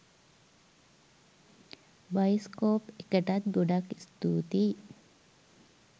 bioscope එකටත් ගොඩක් ස්තූතියි